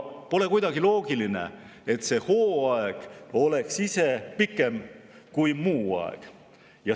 Pole kuidagi loogiline, et see hooaeg oleks ise pikem kui muu aeg.